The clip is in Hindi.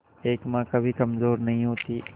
एक मां कभी कमजोर नहीं होती